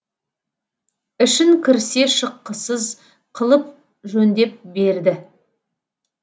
ішін кірсе шыққысыз қылып жөндеп берді